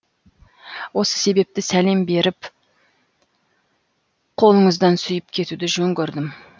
осы себепті салем беріп қолыңыздан сүйіп кетуді жөн көрдім